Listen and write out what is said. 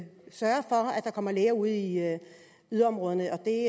der kommer læger ud i yderområderne og det